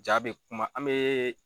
Jaa bɛ kuma an bɛ